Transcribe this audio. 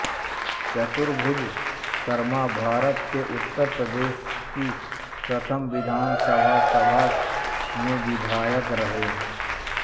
चतुर्भुज शर्माभारत के उत्तर प्रदेश की प्रथम विधानसभा सभा में विधायक रहे